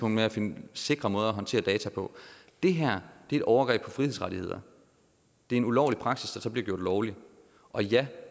med at finde sikre måder at håndtere data på det her er et overgreb på frihedsrettigheder det er en ulovlig praksis der så bliver gjort lovlig og ja